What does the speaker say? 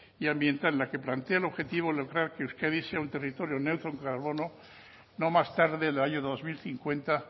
y ambiental en la que plantea el objetivo de lograr que euskadi sea un territorio neutro en carbono no más tarde del año dos mil cincuenta